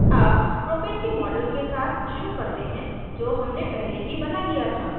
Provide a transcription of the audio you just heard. अब propane के model के साथ शुरू करते हैं जो हमने पहले ही बना लिया था